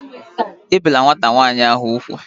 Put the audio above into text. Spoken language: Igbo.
Ebìla nwata nwaanyị ahụ úgwù!